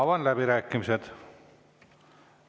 Avan läbirääkimised.